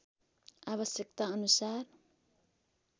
आवश्यकता अनुसार